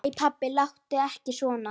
Æ pabbi, láttu ekki svona.